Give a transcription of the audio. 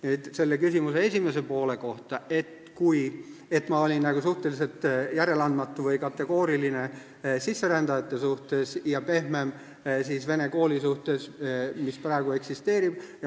Nüüd, teie küsimuse esimese poole kohta, et ma olin suhteliselt järeleandmatu või kategooriline sisserändajate suhtes ja pehmem vene kooli suhtes, mis praegu eksisteerib.